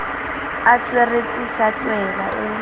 a tsweretse sa tweba e